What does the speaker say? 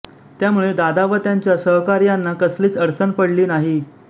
त्यामुळे दादा व त्यांच्या सहकार्यांना कसलीच अडचण पडली नाही